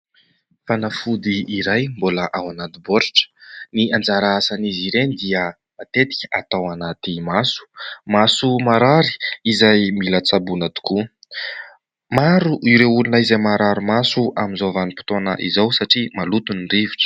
Fanafody iray mbola ao anaty bôritra, ny anjara asan'izy ireny dia matetika atao anaty maso. Maso marary izay mila tsaboana tokoa, maro ireo olona izay marary maso amin'izao vanim-potoana izao satria maloto ny rivotra.